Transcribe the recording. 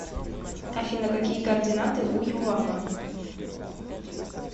афина какие координаты у ювава